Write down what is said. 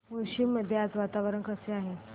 मुळशी मध्ये आज वातावरण कसे आहे